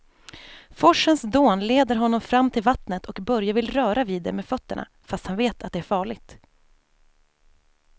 Forsens dån leder honom fram till vattnet och Börje vill röra vid det med fötterna, fast han vet att det är farligt.